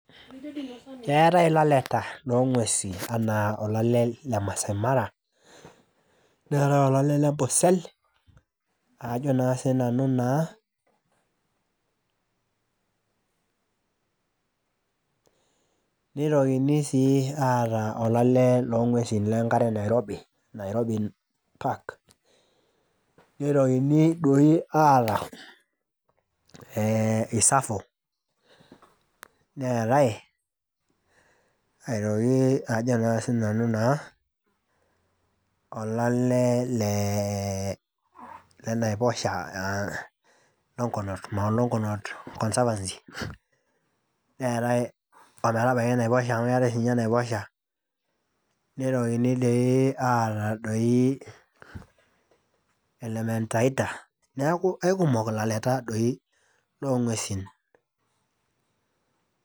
Keetae ilaleta longwesi anaa olale le masai mara ,neetae olale lempusel ajo naa sinanu naa ,nitokini sii aata olale longwesi lenkare nairobi, Nairobi park nitokini aata ee isafo ,neetae aitoki ajo naa sinanu naa olale le leee lenaiposha longonot Mount Longonot conserverty neeta ometabaki naiposha amu keetaj sinye naiposha nitokini doi aata di Elementaita neaku aikumok lalaeta doi longwesi.